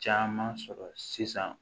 Caman sɔrɔ sisan